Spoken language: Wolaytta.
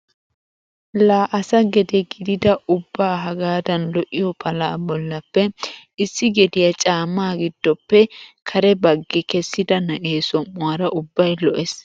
La asa gedee gididi ubba hagaadan lo"iyoo palaa bollappe issi gediyaa caamma gidoppe kare baggi kessida na'ee som"uwaara ubbay lo"ees.